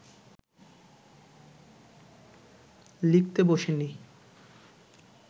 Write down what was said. লিখতে বসিনি